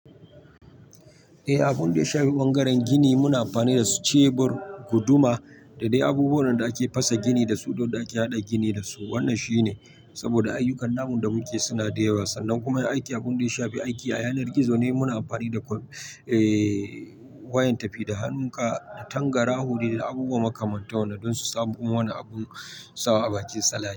Eh, abin da ya shafi bangaren gini muna amfani da shebur, guduma da dai abubuwan da ake fasa gini dasu don da ake haɗa gini dasu. Wannan shine saboda ayyukan namun da muke suna da yawa, sannan kuma yin aiki abin da ya shafi aiki a yanar gizo ne muna amfani da ƙwai, eh wayan tafi da hannun ka tangaraho, da abubuwa makamanta wannan don su samu wani abun sawa a bakin salati.